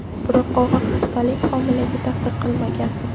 Biroq og‘ir xastalik homilaga ta’sir qilmagan.